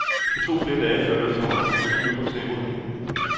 Det tog flere dage, før lufthavnen fik styr på snerydningen.